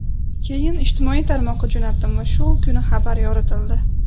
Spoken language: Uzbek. Keyin ijtimoiy tarmoqqa jo‘natdim va shu kuni xabar yoritildi.